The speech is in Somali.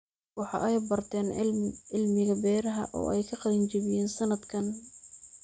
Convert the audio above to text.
Waxa ay barteen cilmiga beeraha oo ay ka qalin jabiyeen sanadkan.